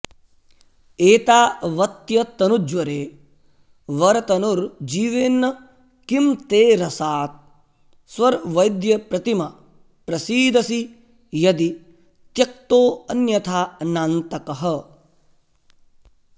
एतावत्यतनुज्वरे वरतनुर्जीवेन्न किं ते रसात् स्वर्वैद्यप्रतिम प्रसीदसि यदि त्यक्तोऽन्यथा नान्तकः